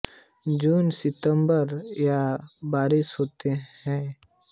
जून से सितंबर तक यहां पर बारिश होती है